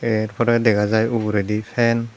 ey r pore dega jai uguredi fan.